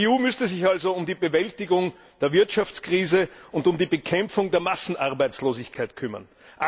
Die EU müsste sich also um die Bewältigung der Wirtschaftskrise und um die Bekämpfung der Massenarbeitslosigkeit kümmern.